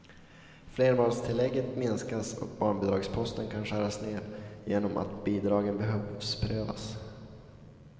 Flerbarnstillägget minskas och barnbidragsposten kan skäras ned genom att bidragen behovsprövas.